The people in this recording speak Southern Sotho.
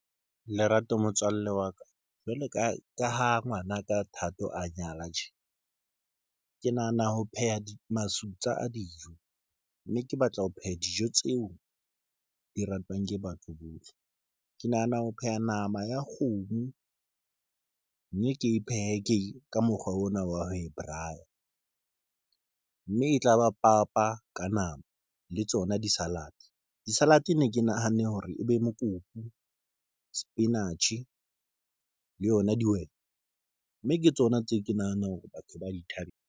Lerato motswalle wa ka jwalo ka ka ho ngwanaka Thato a nyala tje. Ke nahana ho pheha masutsa a dijo mme ke batla ho pheha dijo tseo di ratwang ke batho bohle. Ke nahana ho pheha nama ya kgomo mme ke phehe ke ka mokgwa ona wa ho e braai-ya mme e tla ba papa ka nama le tsona di salad, di salad ne ke nahanne hore ebe mokopu, sepinatjhe le yona dihwete mme ke tsona tseo ke nahanang hore batho .